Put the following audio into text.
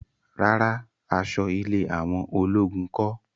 Rárá, aṣọ ilé àwọn ológun kọ́